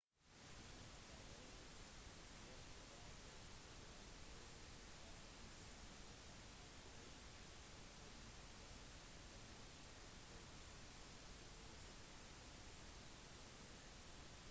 infrarøde bilder viser temperaturvariasjonene fra natt og dag som antyder at det sannsynligvis befinner seg huler der